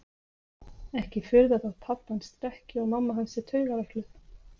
Ekki furða þótt pabbi hans drekki og mamma hans sé taugaveikluð